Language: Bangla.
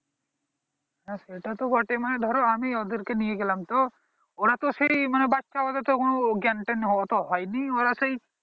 হ্যাঁ সেটা তো বটে মানে ধরো আমি ওদের কে নিয়ে গেলাম তো ওড়াও তো সেই বাচ্চা ওদের তো এখন জ্ঞান ট্যান অতটা হয়ে নি ওরা সেই